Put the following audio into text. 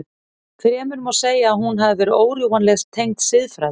Fremur má segja að hún hafi verið órjúfanlega tengd siðfræði.